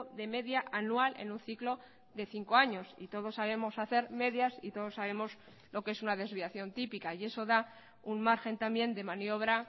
de media anual en un ciclo de cinco años y todos sabemos hacer medias y todos sabemos lo que es una desviación típica y eso da un margen también de maniobra